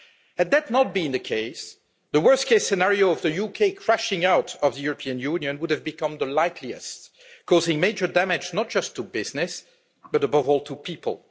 Had that not been the case, the worst case scenario of the UK crashing out of the European Union would have become the likeliest, causing major damage not just to business but above all to people.